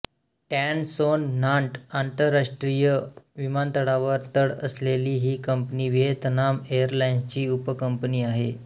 tan Son Nhat आंतरराष्ट्रीय विमानतळावर तळ असलेली ही कंपनी व्हियेतनाम एरलाइन्सची उपकंपनी आहे